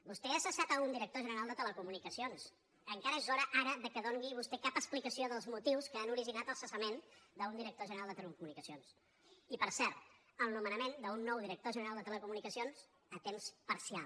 vostè ha cessat un director general de telecomunicacions encara és hora ara que doni vostè cap explicació dels motius que han originat el cessament d’un director general de telecomunicacions i per cert el nomenament d’un nou director general de telecomunicacions a temps parcial